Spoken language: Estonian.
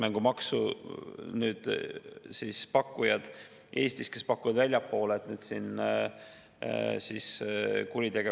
Ainult et niipalju kui mina tean, hasartmänguettevõtted on suuresti kattevarjuks kuritegelikele grupeeringutele, kes kasutavad mängusõltuvusse sattunud inimesi oma tellimustööde täitmiseks, mis üldiselt on seotud narkokaubanduse või muu taolisega.